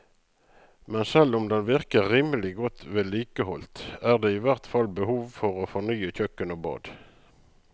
Men selv om den virker rimelig godt vedlikeholdt, er det i hvert fall behov for å fornye kjøkken og bad.